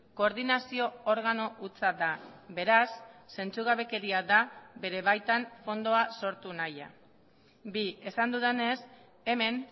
koordinazio organo hutsa da beraz zentzugabekeria da bere baitan fondoa sortu nahia bi esan dudanez hemen